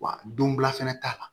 Wa don bila fɛnɛ ta la